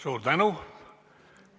Suur tänu!